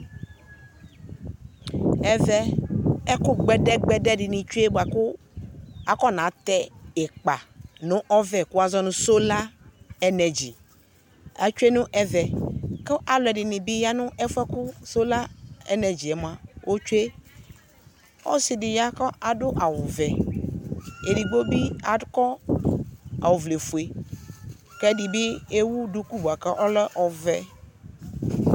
Ɛvɛ ɛkʋ gbɛdɛgbɛdɛ dɩnɩ tsue bʋakʋ afɔnatɛ ɩkpa nʋ ɔvɛ kʋ wʋazɔ nʋ: sola enɛdzi atsue nʋ ɛvɛ Kʋ alʋɛdɩnɩ bɩ ya n'ɛfʋɛ kʋ sola enɛdziɛ mʋa otsue Ɔsɩdɩ ya kʋ adʋ awʋvɛ edigbo bɩ akɔ ɔvlɛfue , k'ɛdɩ bɩ ewu duku bʋa k'ɔlɛ ɔvɛ